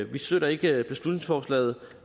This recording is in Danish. vi støtter ikke beslutningsforslaget